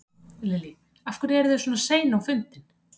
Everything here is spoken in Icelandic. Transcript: Lillý: Af hverju eru þið svona sein á fundin?